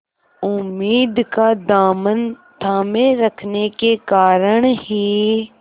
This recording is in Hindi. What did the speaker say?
उम्मीद का दामन थामे रखने के कारण ही